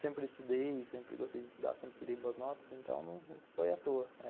Sempre estudei, sempre gostei de estudar, sempre tirei boas notas, então não foi à toa.